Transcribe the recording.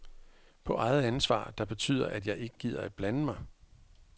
På eget ansvar, der betyder, at jeg ikke gider at blande mig.